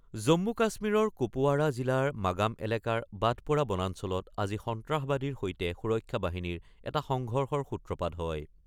জম্মু-কাশ্মীৰৰ কুপৱাড়া জিলাৰ মাগাম এলেকাৰ বাটপ'ৰা বনাঞ্চলত আজি সন্ত্ৰাসবাদীৰ সৈতে সুৰক্ষা বাহিনীৰ এটা সংঘৰ্ষৰ সূত্ৰপাত হয়।